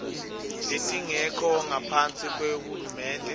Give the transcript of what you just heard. letingekho ngaphasi kwahulumende